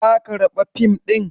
Ka karɓa fim ɗin?